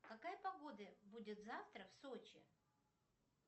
какая погода будет завтра в сочи